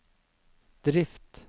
drift